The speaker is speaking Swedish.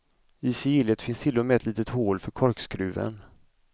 I sigillet finns till och med ett litet hål för korkskruven.